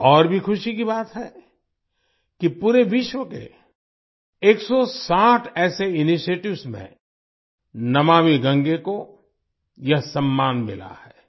ये और भी खुशी की बात है कि पूरे विश्व के 160 ऐसे इनिशिएटिव्स में नमामि गंगे को यह सम्मान मिला है